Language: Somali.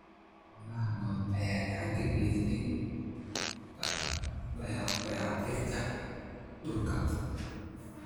Xoolaha nool ayaa gacan ka geysta dayactirka dhulka.